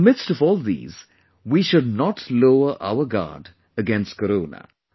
In the midst of all these, we should not lower our guard against Corona